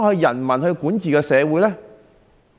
人民如何管治社會呢？